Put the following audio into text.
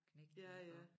Knægte iggå